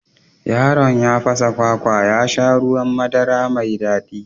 Yaron ya fasa kwakwar ya sha ruwan madara mai daɗi